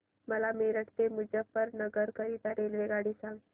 मला मेरठ ते मुजफ्फरनगर करीता रेल्वेगाडी सांगा